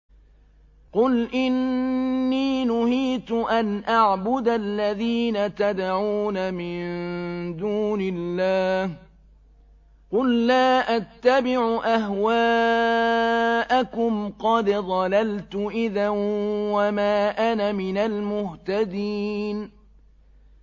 قُلْ إِنِّي نُهِيتُ أَنْ أَعْبُدَ الَّذِينَ تَدْعُونَ مِن دُونِ اللَّهِ ۚ قُل لَّا أَتَّبِعُ أَهْوَاءَكُمْ ۙ قَدْ ضَلَلْتُ إِذًا وَمَا أَنَا مِنَ الْمُهْتَدِينَ